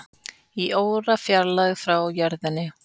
Í órafjarlægð frá jörðinni